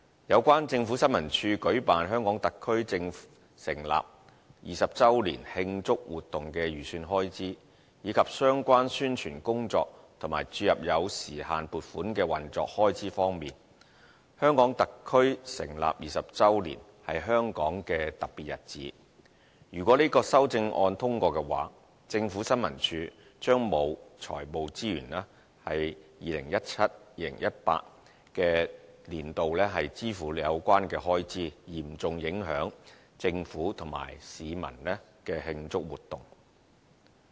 有關政府新聞處舉辦香港特區政府成立20周年慶祝活動的預算開支，以及相關宣傳工作和注入有時限撥款的運作開支方面，香港特區成立20周年，是香港的特別日子，如果這項修正案獲得通過，政府新聞處將沒有財務資源在 2017-2018 年度支付有關的開支，嚴重影響政府和市民的慶祝活動。